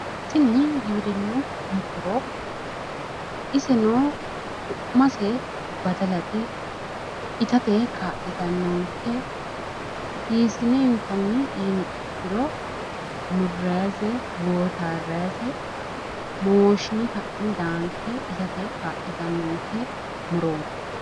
Tini giwirinnu muro iseno su'mase badalate. Itate kaa'litannonkke hiisiine inttanni yiniha ikkiro, murrayiise gootaarrayise mooshshine ka'ne daankke itate kaa'litannonkke murooi.